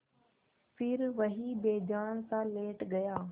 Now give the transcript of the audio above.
फिर वहीं बेजानसा लेट गया